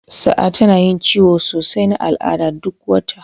Sa'a tana yin ciwon sosai na al'ada duk wata.